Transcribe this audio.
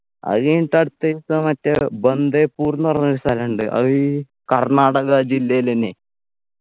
അത് കഴിഞ്ഞിട്ട് അടുത്ത ദിവസം മറ്റേ ബന്ദെപുർന്ന് പറഞ്ഞ ഒരു സ്ഥലുണ്ട് അത് ഈ കർണാടക ജില്ലയിൽ എന്നെ